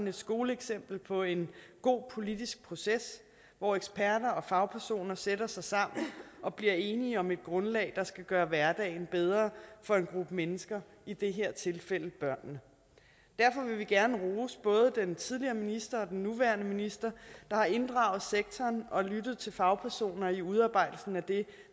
et skoleeksempel på en god politisk proces hvor eksperter og fagpersoner sætter sig sammen og bliver enige om et grundlag der skal gøre hverdagen bedre for en gruppe mennesker i det her tilfælde børnene derfor vil vi gerne rose både den tidligere minister og den nuværende minister der har inddraget sektoren og lyttet til fagpersoner i udarbejdelsen af det